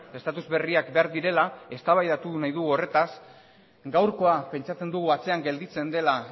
estatus berriak behar direla eztabaidatu nahi dugu horretaz gaurkoa pentsatzen dugu atzean gelditzen dela